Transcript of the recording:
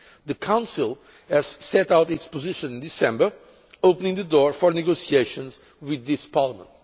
The Council set out its position in December, opening the door for negotiations with Parliament.